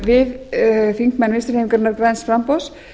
við þingmenn vinstri hreyfingarinnar græns framboðs